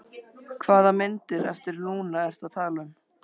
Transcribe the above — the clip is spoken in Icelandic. Hvaða myndir eftir Lúnu ertu að tala um?